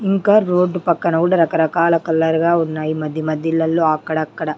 ఇంకా రోడ్డు పక్కన గూడా రకరకాల కలర్ గా ఉన్నాయి మధ్య మధ్యల్లలో అక్కడక్కడ --